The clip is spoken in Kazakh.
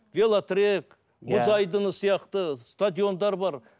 велотрэк иә мұз айдыны сияқты стадиондар бар